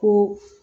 Ko